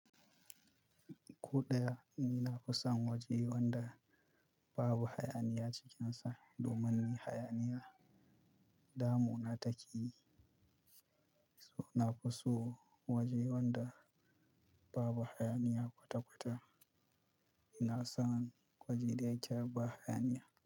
Ko ɗaya ina kusan waje wanda babu hayaniya cikinsa domin hayaniya damuna take. Na fi so waje wanda babu hayaniya kwata-kwata. Ina son waje da ya ci babu hayaniya.